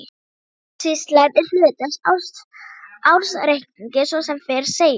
Ársskýrslan er hluti af ársreikningi svo sem fyrr segir.